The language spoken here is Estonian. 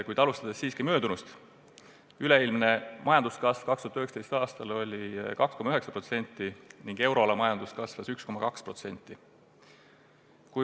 Kuid alustan siiski möödunust: üleilmne majanduskasv oli 2019. aastal 2,9% ning euroala majandus kasvas 1,2%.